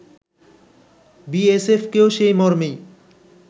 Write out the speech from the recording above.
বিএসএফকেও সেই মর্মেই